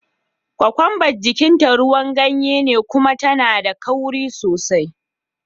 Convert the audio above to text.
Kokwamba jikin ta ruwan ganye ne kuma tana da kauri sosai.